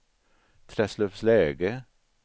Träslövsläge